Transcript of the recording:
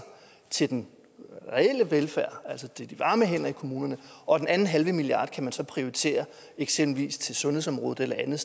til den reelle velfærd altså til de varme hænder i kommunerne og den anden halve milliard kan man så prioritere eksempelvis til sundhedsområdet eller